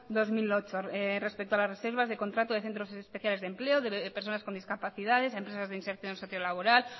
dos mil ocho respecto a la reservas de contrato de centros especiales de empleo de personas con discapacidades a empresas de inserción social o laboral